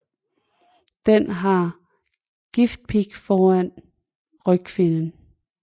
Den har en giftpig foran rygfinnen